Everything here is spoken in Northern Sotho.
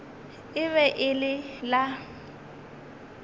e be e le la